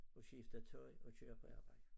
Og skifte tøj og køre på arbejde